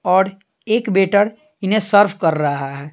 और एक वेटर इन्हें सर्व कर रहा है।